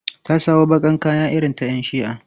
Ta sawo baƙar kaya irin ta 'yan shi'a.